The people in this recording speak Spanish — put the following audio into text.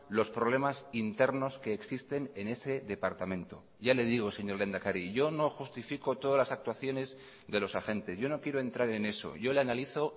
los problemas internos que existen en ese departamento ya le digo señor lehendakari yo no justifico todas las actuaciones de los agentes yo no quiero entrar en eso yo le analizo